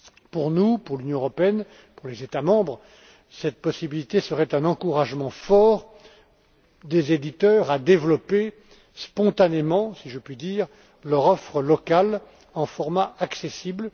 Pour nous, pour l'Union européenne, pour les États membres, cette possibilité serait un encouragement fort des éditeurs à développer spontanément, si je puis dire, leur offre locale dans un format accessible.